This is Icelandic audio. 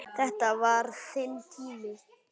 Þetta var þinn tími.